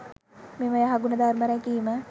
මෙම යහගුණ ධර්ම රැකීම